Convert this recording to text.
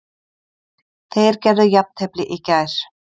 Þeir gerðu jafntefli í gær